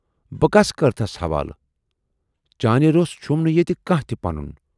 بہٕ کَس کٔرتھَس حوالہٕ؟ چانہِ روس چھُم نہٕ ییتہِ کانہہ تہِ پَنُن۔